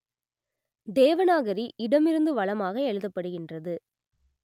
தேவநாகரி இடமிருந்து வலமாக எழுதப்படுகின்றது